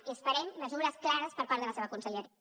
i esperem mesures clares per part de la seva conselleria